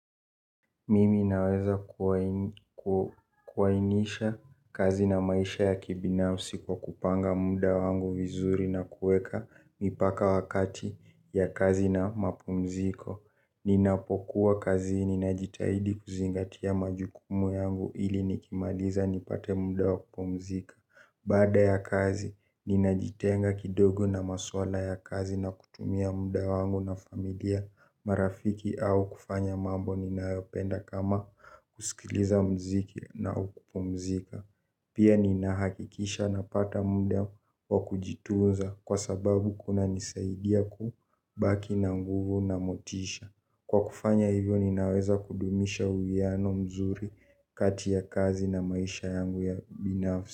Mimi naweza kuainisha kazi na maisha ya kibinafsi kwa kupanga muda wangu vizuri na kuweka mipaka wakati ya kazi na mapumziko. Ninapokuwa kazini ninajitahidi kuzingatia majukumu yangu ili nikimaliza nipate muda wakupumzika. Baada ya kazi ninajitenga kidogo na maswala ya kazi na kutumia muda wangu na familia marafiki au kufanya mambo ninayopenda kama kusikiliza muziki na kupumzika. Pia ninahakikisha napata muda wa kujitunza kwa sababu kunanisaidia kubaki na nguvu na motisha. Kwa kufanya hivyo, ninaweza kudumisha uwiano mzuri kati ya kazi na maisha yangu ya binafsi.